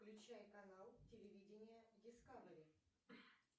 включай канал телевидение дискавери